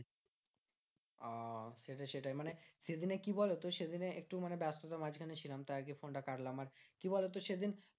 ওহ সেটাই সেটাই মানে সেদিনে কি বলোতো? সেদিন একটু মানে ব্যাস্ততার মাঝখানে ছিলাম তাই আরকি ফোনটা কাটলাম। আর কি বলোতো? সেদিন